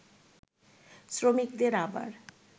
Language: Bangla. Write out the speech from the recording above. শ্রমিকদের আবার